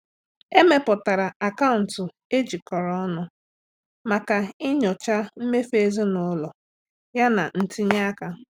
Emepụtara akaụntụ e jikọrọ ọnụ maka ịnyocha mmefu ezinụlọ yana ntinye aka.